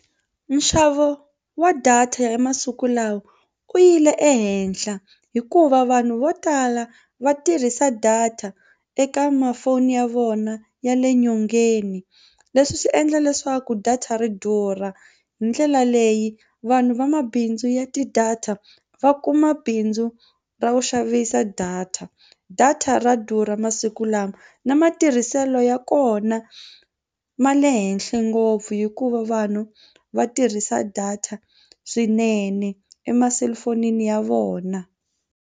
Nxavo wa data ya masiku lawa u yile ehenhla hikuva vanhu vo tala va tirhisa data eka mafoni ya vona ya le nyongeni leswi swi endla leswaku data ri durha hi ndlela leyi vanhu vamabindzu ya ti-data va kuma bindzu ra ku xavisa data. Data ra durha masiku lawa na matirhiselo ya kona ma le henhle ngopfu hikuva vanhu va tirhisa data swinene emaselifonini ya vona.